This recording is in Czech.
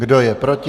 Kdo je proti?